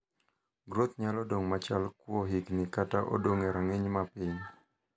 groth nyalo dong' machal kuo higni kata odong e rang'iny ma piny